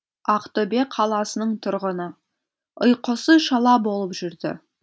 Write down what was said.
ақтөбе қаласының тұрғыны ұйқысы шала болып жүрді